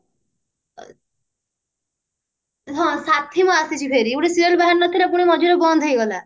ହଁ ସାଥି ମୋ ଆସିଛି ଫେରି ଗୁଟେ serial ବାହାରି ନଥିଲା ପୁଣି ମଝିରେ ବନ୍ଦ ହେଇଗଲା